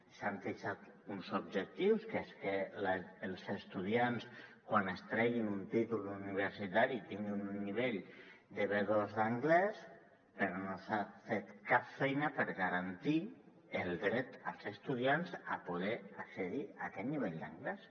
s’han fixat uns objectius que és que els estudiants quan es treguin un títol universitari tinguin un nivell de b2 d’anglès però no s’ha fet cap feina per garantir el dret als estudiants a poder accedir a aquest nivell d’anglès